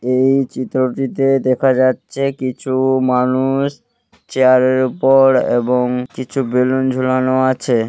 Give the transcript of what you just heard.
এই চিত্রটিতে দেখা যাচ্ছে কিছু-উ মানুষ চেয়ারের উপর এবং কিছু বেলুন ঝুলানো আছে।